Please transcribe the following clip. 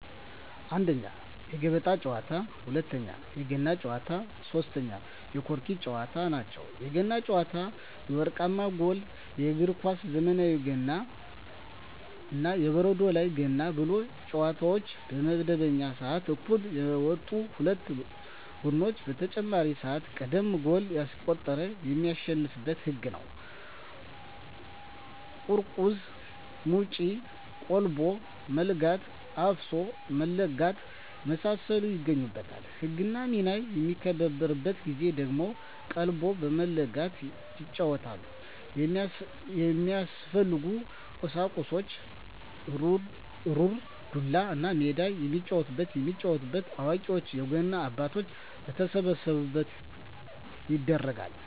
1ኛ, የገበጣ ጨዋታ, 2ኛ, የገና ጨዋታ, 3ኛ የቆርኪ ጨዋታ ናቸው። የገና ጨዋታ የወርቃማ ጎል በእግር ኳስ ዘመናዊ ገና እና የበረዶ ላይ ገና ባሉ ጨዋታዎች በመደበኛው ስዓት እኩል የወጡ ሁለት ቡድኖች በተጨማሪ ስዓት ቀድሞ ጎል ያስቆጠረ የሚያሸንፋበት ህግ ነው ቁርቁዝ ሙጭ ,ቀልቦ መለጋት ,አፍሶ መለጋት የመሳሰሉት ይገኙበታል። ህግና ሚና በሚከበርበት ጊዜ ደግሞ ቀልቦ በመለጋት ይጫወቱታል። የሚያስፈልጉ ቁሳቁስ ሩር, ዱላ, እና ሜዳ የሚጫወቱበት። የሚጫወተው አዋቂዎች የገና አባቶች በተሰበሰቡበት ይደረጋል።